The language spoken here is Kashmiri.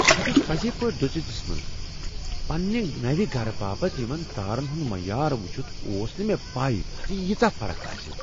بہٕ چھس پٔزے پٲٹھۍ دُژیتس منز پننہ نوِ گرٕ باپت یمن تارن ہٕند معیار وچھِتھ اوس نہٕ مےٚ پَے زِ ییژاہ فرق آسہ۔